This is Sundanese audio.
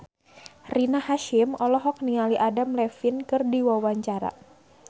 Rina Hasyim olohok ningali Adam Levine keur diwawancara